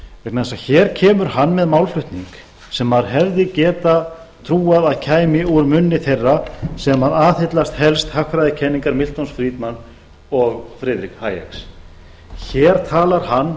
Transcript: vegna þess að hér kemur hann með málflutning sem maður hefði getað trúað að kæmi úr munni þeirra sem aðhyllast helst hagfræðikenningar milton friedman og friðriks hayeks hér talar hann